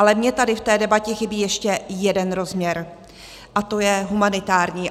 Ale mně tady v té debatě chybí ještě jeden rozměr, a to je humanitární.